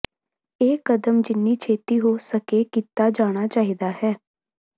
ਇਹ ਕਦਮ ਜਿੰਨੀ ਛੇਤੀ ਹੋ ਸਕੇ ਕੀਤਾ ਜਾਣਾ ਚਾਹੀਦਾ ਹੈ